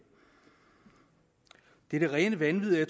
det er det rene vanvid